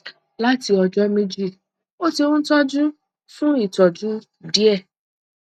láti ọjọ méjì ó ti ń tọjú fún ìtọjú díẹ